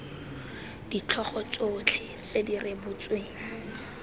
ditlhogo tsotlhe tse di rebotsweng